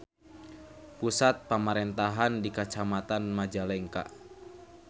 Pusat pamarentahan di Kacamatan Majalengka.